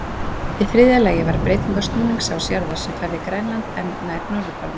Í þriðja lagi varð breyting á snúningsás jarðar, sem færði Grænland enn nær norðurpólnum.